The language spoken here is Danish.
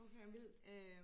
okay vildt